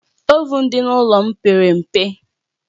Ovụn dị n'ụlọ m pere mpe